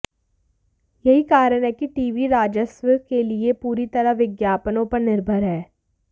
यही कारण है कि टीवी राजस्व के लिए पूरी तरह विज्ञापनों पर निर्भर है